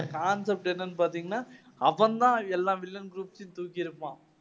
இந்த concept என்னன்னு பாத்தீங்கன்னா, அவன் தான் எல்லா villain groups ஐயும் தூக்கியிருப்பான்.